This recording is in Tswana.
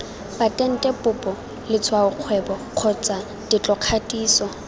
patente popo letshwaokgwebo kgotsa tetlokgatiso